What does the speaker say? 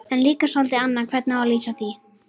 En líka soldið annað hvernig á að lýsa því